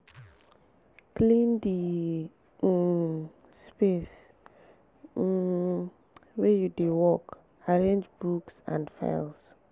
clean di um space um wey you dey work arrange books and files